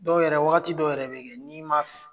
Dɔw yɛrɛ waati dɔw yɛrɛ bɛ kɛ yen n'i ma